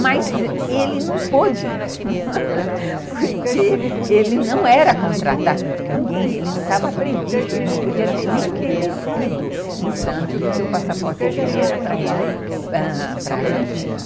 Mas ele não pôde, porque ele não era contratado de ninguém, ele não estava previsto, ele não podia nem ter descido em Santos, porque o passaporte dele era para ir para ãh Argentina.